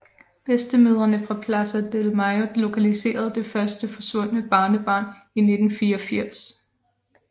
Bedstemødrene fra Plaza de Mayo lokaliserede det første forsvundne barnebarn i 1984